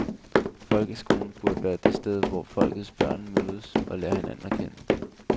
Folkeskolen burde være det sted, hvor folkets børn mødes og lærer hinanden at kende.